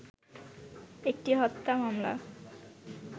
একটি হত্যা মামালা